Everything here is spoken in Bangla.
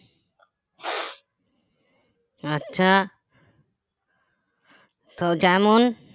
আচ্ছা তো যেমন